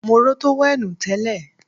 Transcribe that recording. Mo ró tówẹ́ènù tẹ́lẹ̀